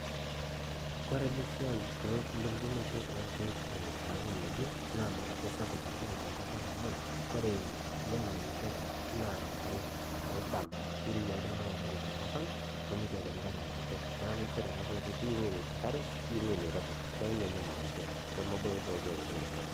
kore ena siai ewunoto olkeek lolng'anayio naa mara sapuk oleng' tenkop ang' amu enkare amu kirowua oldama tenkop ang' nimikiata enkare aa kitok neaku keyieu enkare neyieu ewueji nirobi